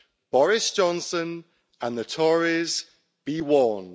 Boris Johnson and the Tories, be warned.